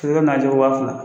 wa fila.